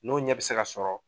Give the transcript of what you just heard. N'o ɲɛ bɛ se ka sɔrɔ